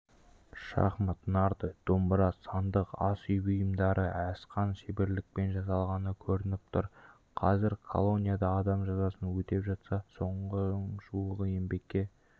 шахмат нарды домбыра сандық ас үй бұйымдары асқан шеберлікпен жасалғаны көрініп тұр қазір колонияда адам жазасын өтеп жатса соның жуығы еңбекке